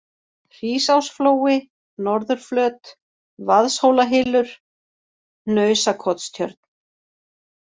Hrísásflói, Norðurflöt, Vaðshólahylur, Hnausakotstjörn